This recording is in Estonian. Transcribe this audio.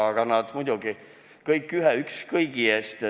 Aga nad muidugi on kõik ühe, üks kõigi eest.